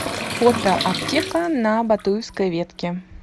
фото аптека на батуевской ветке